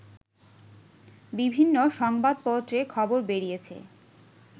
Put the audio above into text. বিভিন্ন সংবাদপত্রে খবর বেরিয়েছে